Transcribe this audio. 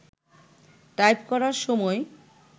type করার সময়